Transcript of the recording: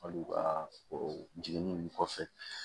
Hali u ka o jiginni ninnu kɔfɛ